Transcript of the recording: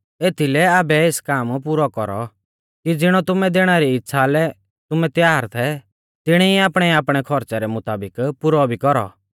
एथीलै आबै एस काम पुरौ कौरौ कि ज़िणौ तुमैं देणा री इच़्छ़ा लै तुमैं तैयार थै तिणी ई आपणैआपणै खौरच़ै रै मुताबिक पुरौ भी कौरौ